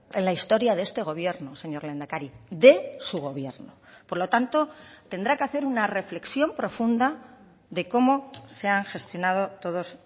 en la historia de este gobierno señor lehendakari de su gobierno por lo tanto tendrá que hacer una reflexión profunda de cómo se han gestionado todos